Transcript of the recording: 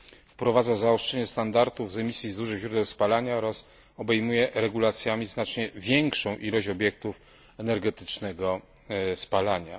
Wprowadza zaostrzenie standardów z emisji z dużych źródeł spalania oraz obejmuje regulacjami znacznie większą ilość obiektów energetycznego spalania.